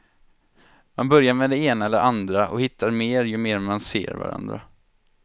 Man börjar med det ena eller andra och hittar mer ju mer man ser varandra.